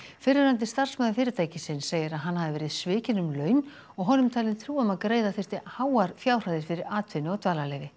fyrrverandi starfsmaður fyrirtækisins segir að hann hafi verið svikinn um laun og honum talin trú um að greiða þyrfti háar fjárhæðir fyrir atvinnu og dvalarleyfi